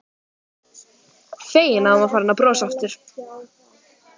Feginn að hún var farin að brosa aftur.